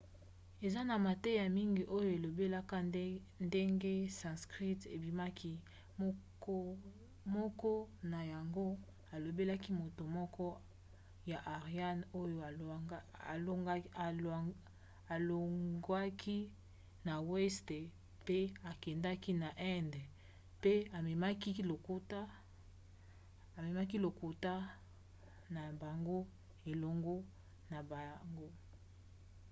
eza na mateya mingi oyo elobelaka ndenge sanskrit ebimaki. moko na yango elobelaka moto moko ya aryan oyo alongwaki na weste mpe akendaki na inde mpe amemaki lokota na bango elongo na bango